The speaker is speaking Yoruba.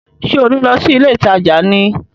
Ṣé ò ní lọ sí ilé ìtajà ni?